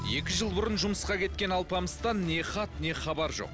екі жыл бұрын жұмысқа кеткен алпамыстан не хат не хабар жоқ